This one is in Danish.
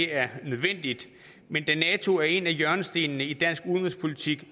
er nødvendigt men da nato er en af hjørnestenene i dansk udenrigspolitik